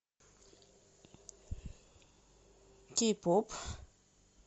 кей поп